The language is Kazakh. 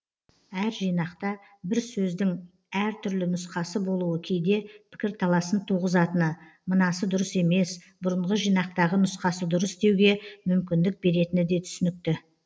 әр жинақта бір сөздің әр түрлі нұсқасы болуы кейде пікірталасын туғызатыны мынасы дұрыс емес бұрынғы жинақтағы нұсқасы дұрыс деуге мүмкіндік беретіні де түсінікті